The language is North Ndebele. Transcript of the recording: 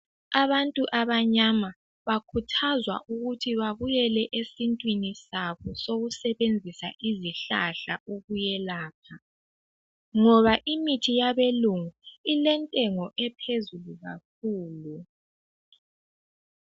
Abantu abanyama bakhuthazwa ukuthi babuyele esintwini sabo sokusebenzisa izihlahla ukuyelapha ngoba imithi yabelungu ilentengo ephezulu kakhulu.